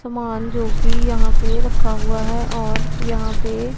सामान जो कि यहां पे रखा हुआ है और यहां पे --